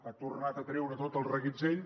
ha tornat a treure tot el reguitzell